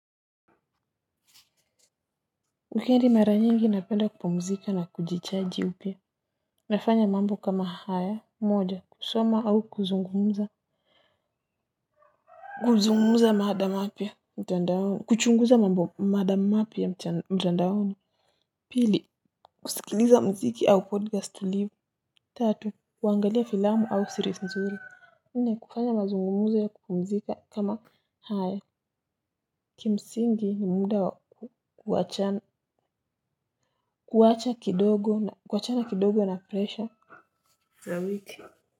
Wikendi mara nyingi napenda kupumzika na kujichaji upya. Nafanya mambo kama haya, moja, kusoma au kuzungumza. Kuzungumza mada mapy mtandaoni, kuchunguza mada mapya mtandaoni. Pili, kusikiliza mziki au podcast live. Tatu, kuangalia filamu au series mzuri, nne, kufanya mazungumza ya kupumzika kama haya. Kimsingi ni muda wa kuacha kuwachana kidogo na presha. Na wiki.